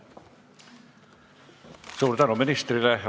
Suur tänu ministrile!